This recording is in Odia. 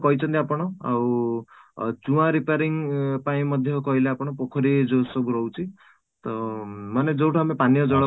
କହିଛନ୍ତି ଆପଣ ଆଉ ନୂଆ repairing ପାଇଁ ମଧ୍ୟ କହିଲେ ଆପଣ ପୋଖରୀ ଯୋଉ ସବୁ ରହୁଛି ତ ମାନେ ଯୋଉଠୁ ଆମେ ପାନୀୟ ଜଳ